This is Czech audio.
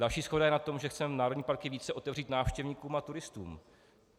Další shoda je na tom, že chceme národní parky více otevřít návštěvníkům a turistům.